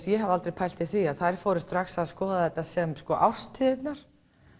ég hafði aldrei pælt í því að þær fóru að skoða þetta sem árstíðirnar